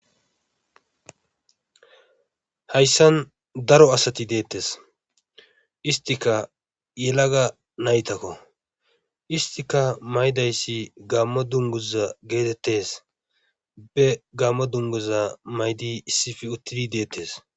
Hayssan daro asati deetees. istikka yelage naytakko. Istikka mayidayssi gaamo dugguza geetettes. be gamo dunguza mayidi issippe uttidi deetees.